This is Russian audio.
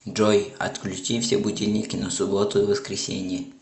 джой отключи все будильники на субботу и воскресенье